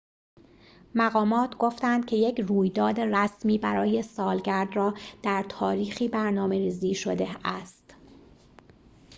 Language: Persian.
مقامات گفتند که یک رویداد رسمی برای سالگرد را در تاریخی برنامه‌ریزی شده است